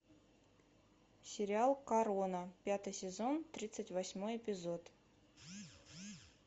сериал корона пятый сезон тридцать восьмой эпизод